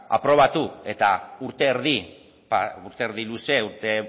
aprobatu eta urte erdi eta urte erdi luze urte